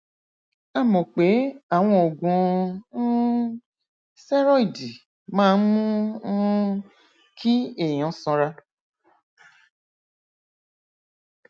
a mọ pé àwọn oògùn um stẹrọìdì máa ń mú um kí èèyàn sanra